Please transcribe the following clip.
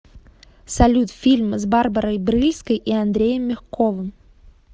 салют фильм с барбарой брыльской и андреем мягковым